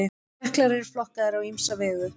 Jöklar eru flokkaðir á ýmsa vegu.